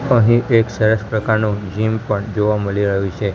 અહીં એક સરસ પ્રકારનું જિમ પણ જોવા મળી રહ્યુ છે.